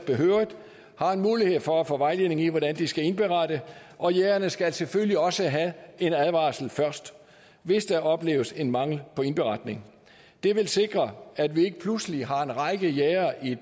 har en mulighed for at få vejledning i hvordan de skal indberette og jægerne skal selvfølgelig også have en advarsel først hvis der opleves en mangel på indberetning det vil sikre at vi ikke pludselig har en række jægere i